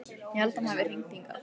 Ég held að hann hafi hringt hingað.